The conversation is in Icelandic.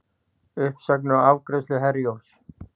Uppsagnir á afgreiðslu Herjólfs